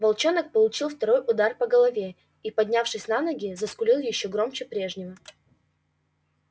волчонок получил второй удар по голове и поднявшись на ноги заскулил ещё громче прежнего